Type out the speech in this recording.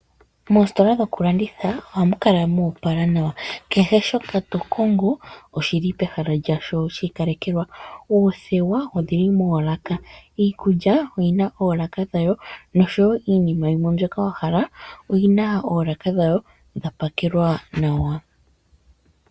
Moositola dhokulanditha ohamu kala moopala nawa. Kehe shoka to kongo oshi li pehala lyasho shi ikalekelwa. Oothewa odhi li moolaka, iikulya oyi na oolaka dhayo nosho wo iinima yimwe mbyoka wa hala oyi na oolaka dhawo dha pakelwa nawa.